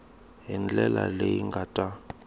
hi ndlela leyi nga ta